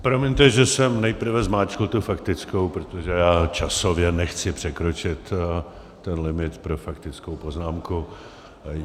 Promiňte, že jsem nejprve zmáčkl tu faktickou, protože já časově nechci překročit ten limit pro faktickou poznámku.